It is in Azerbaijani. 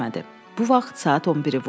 Bu vaxt saat 11 idi.